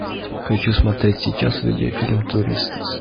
хочу смотреть сейчас видео фильм туристас